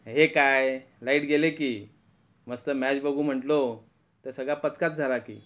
हे काय लाईट गेलय क, मस्त मॅच बघू म्हटलो सगळा पचकाच झाला कि .